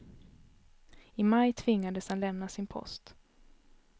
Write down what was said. I maj tvingades han lämna sin post.